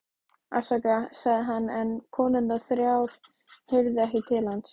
Afsakið, sagði hann, en konurnar þrjár heyrðu ekki til hans.